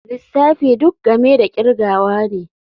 Lissafi duk game da kirgawa ne.